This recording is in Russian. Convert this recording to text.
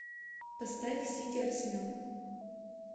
поставь сити арсенал